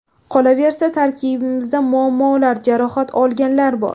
Qolaversa, tarkibimizda muammolar, jarohat olganlar bor.